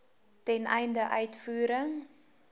ten einde uitvoering